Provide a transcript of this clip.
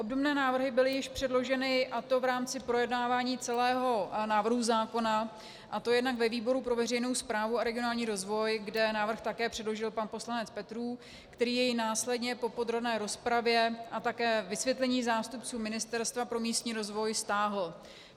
Obdobné návrhy byly již předloženy, a to v rámci projednávání celého návrhu zákona, a to jednak ve výboru pro veřejnou správu a regionální rozvoj, kde návrh také předložil pan poslanec Petrů, který jej následně po podrobné rozpravě a také vysvětlení zástupců Ministerstva pro místní rozvoj stáhl.